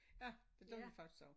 Ja det gør vi faktisk også